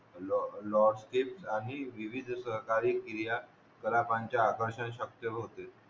लॉस्टिक आणि विविध सरकारी क्रिया ग्राहकांचा आकांश शपतेत होते